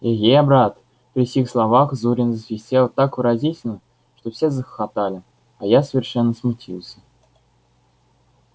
эге брат при сих словах зурин засвистел так выразительно что все захохотали а я совершенно смутился